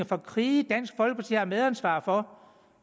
fra krige dansk folkeparti har medansvar for